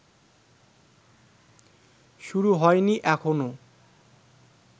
শুরু হয়নি এখনও